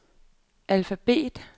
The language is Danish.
alfabet